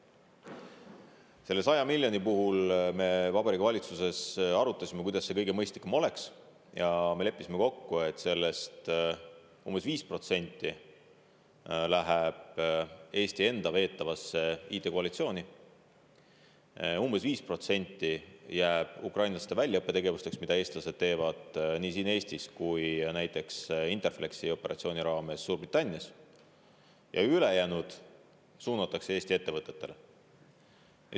Selle 100 miljoni puhul me Vabariigi Valitsuses arutasime, kuidas oleks kõige mõistlikum seda kasutada, ja me leppisime kokku, et sellest umbes 5% läheb Eesti enda veetavasse IT-koalitsiooni, umbes 5% jääb ukrainlaste väljaõppe tegevusteks, mida eestlased teevad nii siin Eestis kui ka näiteks Interflexi operatsiooni raames Suurbritannias, ja ülejäänu suunatakse Eesti ettevõtetele.